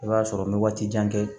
I b'a sɔrɔ n bɛ waati jan kɛ